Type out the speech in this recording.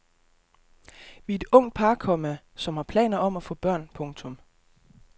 Vi er et ungt par, komma som har planer om at få børn. punktum